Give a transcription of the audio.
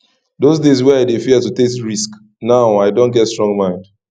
those days wey i dey fear to take risk now i don get strong mind